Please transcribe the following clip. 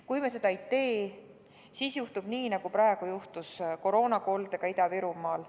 Kui me seda ei tee, siis juhtub nii, nagu on juhtunud koroonakoldega Ida-Virumaal.